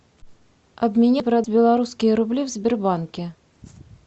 обменять белорусские рубли в сбербанке